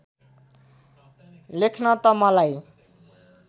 लेख्न त मलाई